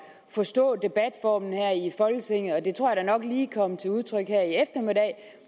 at forstå debatformen her i folketinget og det tror jeg da nok lige kom til udtryk